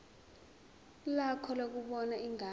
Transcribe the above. lakho lokubona ingane